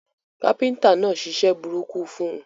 Káfíntà náà ṣiṣẹ́ burúkú fun